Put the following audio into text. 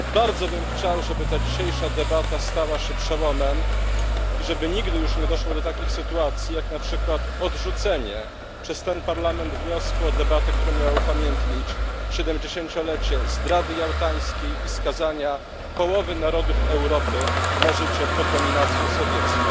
Bardzo bym chciał, żeby ta dzisiejsza debata stała się przełomem i żeby nigdy już nie doszło do takich sytuacji, jak na przykład odrzucenie przez ten parlament wniosku o debatę, która miała upamiętnić siedemdziesięciolecie zdrady jałtańskiej i skazania połowy narodów Europy na życie pod dominacją sowiecką.